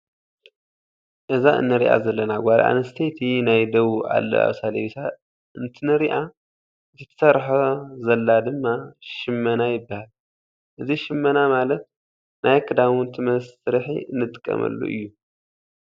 እዛ እንሪኣ ዘለና ጓል ኣነስተይቲ ናይ ደቡብ ኣለባብሳ ለቢሳ እንትንሪኣ ። እቲ ትሰርሖ ዘላ ድማ ሽመና ይባሃል። እዚ ሽመና ማለት ናይ ክዳውንቲ መስርሒ እንጥቀመሉ እዩ።